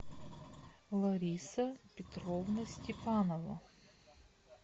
лариса петровна степанова